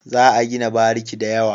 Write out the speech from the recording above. Za a gina bariki da yawa.